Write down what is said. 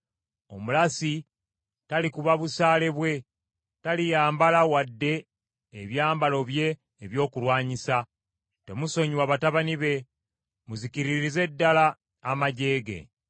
Omulasi talikuba busaale bwe, taliyambala wadde ebyambalo bye ebyokulwanyisa. Temusonyiwa batabani be; muzikiririze ddala amaggye ge.